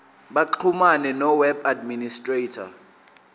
baxhumane noweb administrator